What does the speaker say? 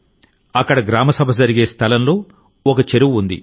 అక్కడ గ్రామసభ జరిగే స్థలంలో ఒక చెరువు ఉంది